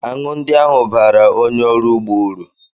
Aṅụ ndị ahụ baara onye ọrụ ugbo uru